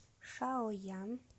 шаоян